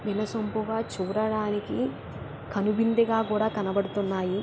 వినసొంపుగా చూడటానికి కనువిందుగా కూడా కనపడుతున్నాయి.